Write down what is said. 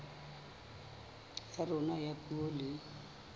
ya rona ya puo le